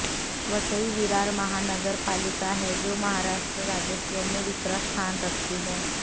वसई विरार महानगर पालिका है जो महाराष्ट्र राजस्व मे दुसरा स्थान रखती है